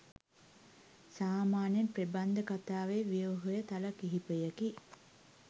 සාමාන්‍යයෙන් ප්‍රබන්ධ කතාවේ ව්‍යුහය තල කිහිපයකි.